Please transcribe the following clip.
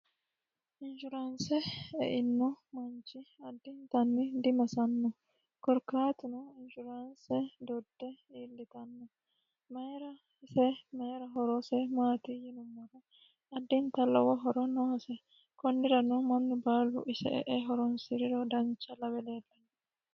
inshuraanse einno manchi addintanni dimasanno korkaatino inshuraanse dodde iillitanno mayira ise mayira horoose maati yinummoro addintani lowo horo noohose konnira noo mannu baalu ise e'e horonsi'riro dancha lawebleellannno